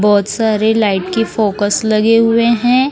बहुत सारे लाइट की फोकस लगे हुए हैं।